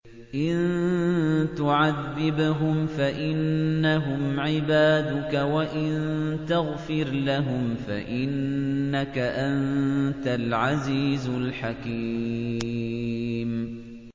إِن تُعَذِّبْهُمْ فَإِنَّهُمْ عِبَادُكَ ۖ وَإِن تَغْفِرْ لَهُمْ فَإِنَّكَ أَنتَ الْعَزِيزُ الْحَكِيمُ